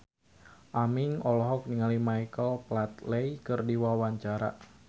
Aming olohok ningali Michael Flatley keur diwawancara